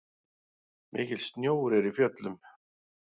Mikill snjór er í fjöllum.